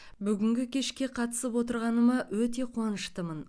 бүгінгі кешке қатысып отырғаныма өте қуаныштымын